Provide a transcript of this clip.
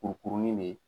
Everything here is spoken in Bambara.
Kurukurunin bɛ yen